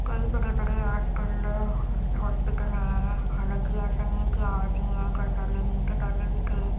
कई बड़े-बड़े आजकल अ म हॉस्पिटल है। हालांकि ऐसा नहीं है की आज ही है कल पहले नहीं थे पहले भी थे।